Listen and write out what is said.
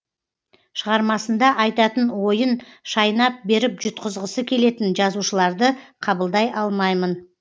шығармасында айтатын ойын шайнап беріп жұтқызғысы келетін жазушыларды қабылдай алмаймын